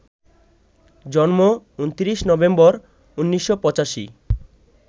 জন্ম ২৯ নভেম্বর, ১৯৮৫